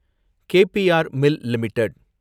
K P R mill limited